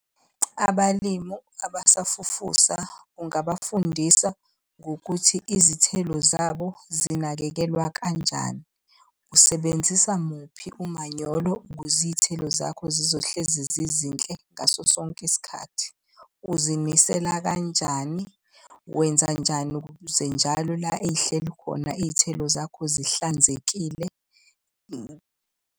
Abalimu abasafufusa ungabafundisa ngokuthi izithelo zabo zinakekelwa kanjani. Usebenzisa muphi umanyolo ukuze iy'thelo zakho zizohlezi zizinhle ngaso sonke isikhathi. Uzinisela kanjani, wenzanjani ukuze njalo la ey'hleli khona iy'thelo zakho zihlanzekile.